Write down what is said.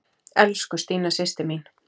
Elsku Stína systir mín.